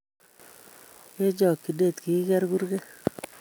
Eng chokchinet kikigeer kurget